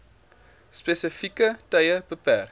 spesifieke tye beperk